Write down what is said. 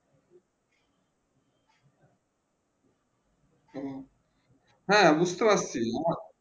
হেঁ বুঝতে পারছি